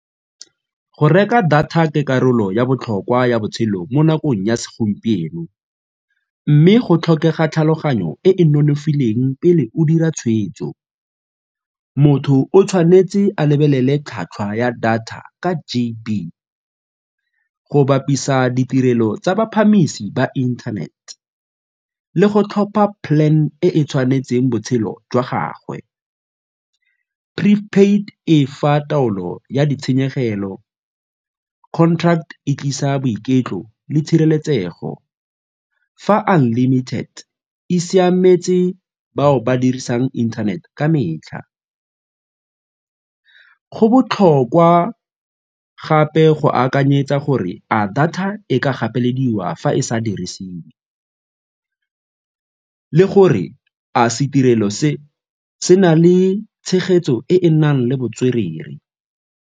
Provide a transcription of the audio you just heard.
Go reka data ke karolo ya botlhokwa ya botshelo mo nakong ya segompieno mme go tlhokega tlhaloganyo e e nonofileng pele o dira tshweetso. Motho o tshwanetse a lebelele tlhwatlhwa ya data ka G_B, go bapisa ditirelo tsa batsamaisi ba inthanete, le go tlhopha plan e e tshwanetseng botshelo jwa gagwe. Pre-paid e fa taolo ya ditshenyegelo, contract e tlisa boiketlo le tshireletsego fa unlimited e siametse bao ba dirisang inthanete ka metlha. Go botlhokwa gape go akanyetsa gore a data e ka gapelediwa fa e sa dirisiwe le gore a se tirelo se se na le tshegetso e e nang le botswerere?